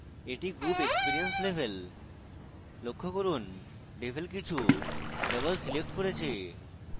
এটি group experience level লক্ষ্য করুন devel কিছু double selected করেছে